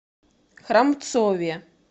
храмцове